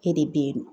E de bɛ yen nɔ